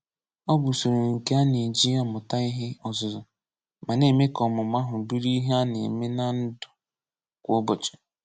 Ọ bụ usoro nke a na-eji amụta ihe ọzụzụ ma na-eme ka ọmụmụ ahụ bụrụ ihe a na-eme na ndụ kwa ụbọchị.